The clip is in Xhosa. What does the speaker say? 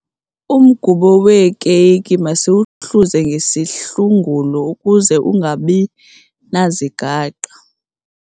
Umgubo weekeyiki masiwuhluze ngesihlungulo ukuze ungabi nazigaqa.